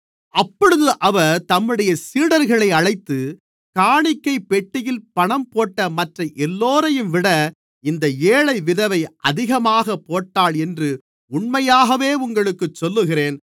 அப்பொழுது அவர் தம்முடைய சீடர்களை அழைத்து காணிக்கைப் பெட்டியில் பணம் போட்ட மற்ற எல்லோரையும்விட இந்த ஏழை விதவை அதிகமாகப் போட்டாள் என்று உண்மையாகவே உங்களுக்குச் சொல்லுகிறேன்